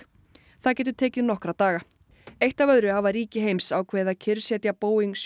það getur tekið nokkra daga eitt af öðru hafa ríki heims ákveðið að kyrrsetja Boeing sjö